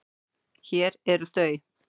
Hér eru þau.